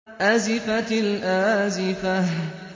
أَزِفَتِ الْآزِفَةُ